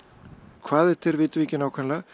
hvað þetta er vitum við ekki nákvæmlega